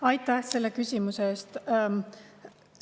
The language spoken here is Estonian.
Aitäh selle küsimuse eest!